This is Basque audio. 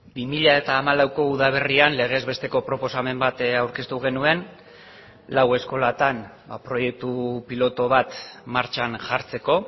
bi mila hamalauko udaberrian legez besteko proposamen bat aurkeztu genuen lau eskolatan proiektu pilotu bat martxan jartzeko